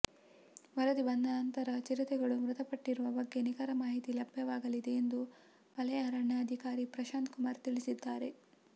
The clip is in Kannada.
ವರದಿ ಬಂದ ನಂತರ ಚಿರತೆಗಳು ಮೃತಪಟ್ಟಿರುವ ಬಗ್ಗೆ ನಿಖರ ಮಾಹಿತಿ ಲಭ್ಯವಾಗಲಿದೆ ಎಂದು ವಲಯ ಅರಣ್ಯಾಧಿಕಾರಿ ಪ್ರಶಾಂತ್ ಕುಮಾರ್ ತಿಳಿಸಿದ್ದಾರೆ